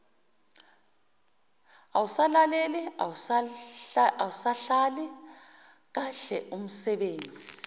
awusalaleli awusahleli kahleumsebenzi